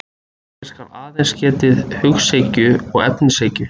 Hér skal aðeins getið hughyggju og efnishyggju.